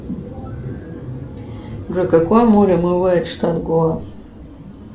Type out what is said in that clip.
джой какое море омывает штат гоа